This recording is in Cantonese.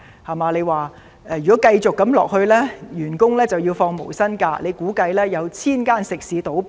他說如果繼續這樣下去，員工就要放取無薪假期，他又估計會有過千間食肆倒閉。